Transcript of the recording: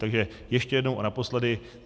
Takže ještě jednou a naposledy.